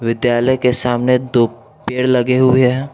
विद्यालय के सामने दो पेड़ लगे हुए हैं।